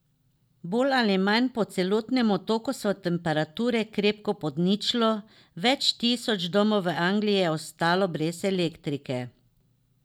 Bolj ali manj po celotnem Otoku so temperature krepko pod ničlo, več tisoč domov v Angliji je ostalo brez elektrike.